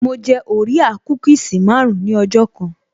Mo jẹ orea kúkìsì marun-un ní ọjọ́ kan